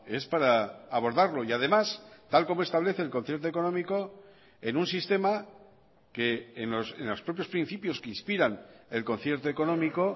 es para abordarlo y además tal como establece el concierto económico en un sistema que en los propios principios que inspiran el concierto económico